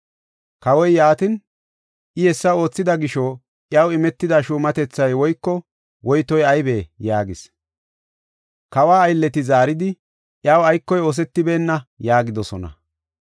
Kawoy, “Yaatin, I hessa oothida gisho iyaw imetida shuumatethay woyko woytoy aybee?” yaagis. Kawa aylleti zaaridi, “Iyaw aykoy oosetibeenna” yaagidosona.